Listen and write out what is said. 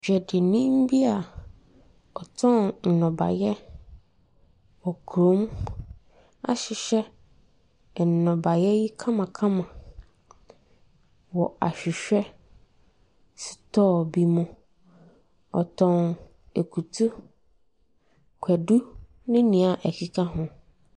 Dwadini bi a ɔtɔn nnɔbaeɛ wɔ kurom ahyehyɛ nnɔbaeɛ I kamakama wɔ ahwehwɛ store bi mu. Ɔtɔn akutuo, kwadu ne deɛ ɛkeka ho.